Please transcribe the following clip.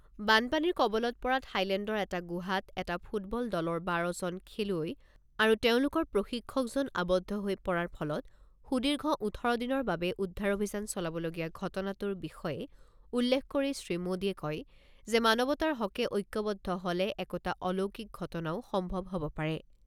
বানপানীৰ কবলত পৰা থাইলেণ্ডৰ এটা গুহাত এটা ফুটবল দলৰ বাৰ জন খেলুৱৈ আৰু তেওঁলোকৰ প্ৰশিক্ষকজন আৱদ্ধ হৈ পৰাৰ ফলত সুদীৰ্ঘ ওঠৰ দিনৰ বাবে উদ্ধাৰ অভিযান চলাবলগীয়া ঘটনাটোৰ বিষয়ে উল্লেখ কৰি শ্ৰী মোদীয়ে কয় যে মানৱতাৰ হকে ঐক্যবদ্ধ হ’লে একোটা অলৌকিক ঘটনাও সম্ভৱ হব পাৰে।